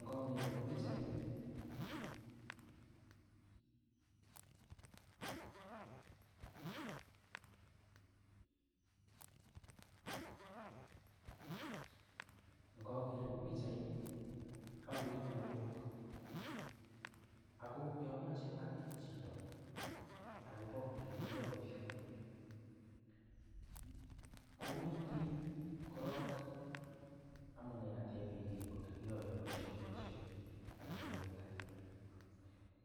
Ngoaker ing pichaini akere plengok ,ako yoo ameche anet chito akopa ole kiyoito boisioni komete korok amune atepekee ndo kiyoe boisioni pesho nda ko petut ake